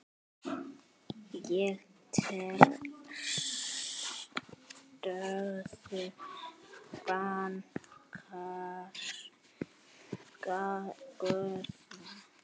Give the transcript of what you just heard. Ég tel stöðu bankans góða.